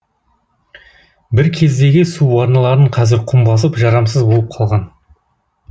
бір кездегі су арналарын қазір құм басып жарамсыз болып қалған